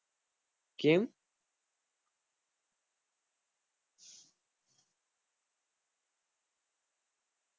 કેમ